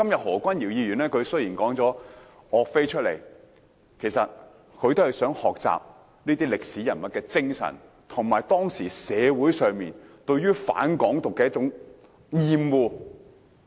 何君堯議員今天談及岳飛，其實也是想學習這位歷史人物的精神，以及解釋當時社會上對"港獨"的厭惡。